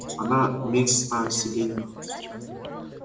она места себе не находит